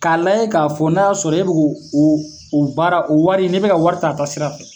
K'a lajɛ k'a fɔ n'a y'a sɔrɔ e bɛ k'o o o baara o wari n'i bɛ ka wari taa a taasira fɛ